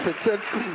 Valijad ...